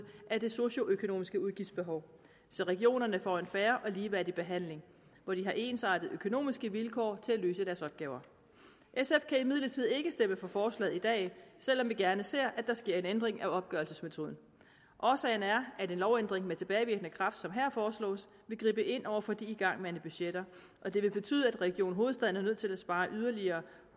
af det socioøkonomiske udgiftsbehov så regionerne får en fair og ligeværdig behandling hvor de har ensartede økonomiske vilkår til at løse deres opgaver sf kan imidlertid ikke stemme for forslaget i dag selv om vi gerne ser at der sker en ændring af opgørelsesmetoden årsagen er at en lovændring med tilbagevirkende kraft som her foreslås vil gribe ind over for de igangværende budgetter og det vil betyde at region hovedstaden er nødt til at spare yderligere